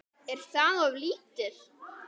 Er það of lítið?